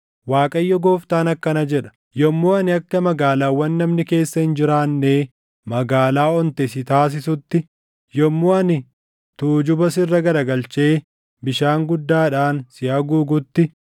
“ Waaqayyo Gooftaan akkana jedha: Yommuu ani akka magaalaawwan namni keessa hin jiraannee magaalaa onte si taasisutti, yommuu ani tujuba sirra garagalchee bishaan guddaadhaan si haguugutti,